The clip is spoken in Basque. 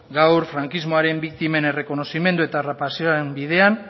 gaur frankismoaren biktimen errekonozimendu eta bidean